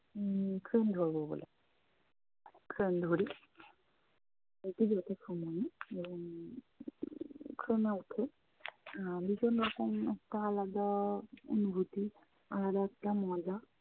উম train ধরবো বলে train ধরি। যাইতে যাইতে সময়ে উম train এ উঠে আহ ভীষণ রকম একটা আলাদা অনুভূতি, আলাদা একটা মজা।